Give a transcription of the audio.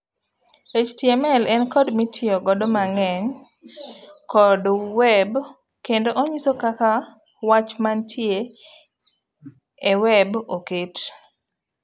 HTML en code mitiyogo mang'eny kod web kendo onyiso kaka wach mantie e web oket.